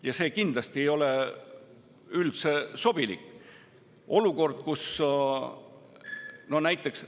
See ei ole kindlasti üldse sobilik olukord, kus näiteks …